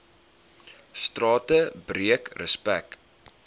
strate breek respek